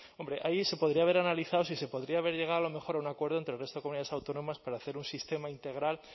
hombre ahí se podría haber analizado si se podría haber llegado a lo mejor a un acuerdo entre el resto de comunidades autónomas para hacer un sistema integral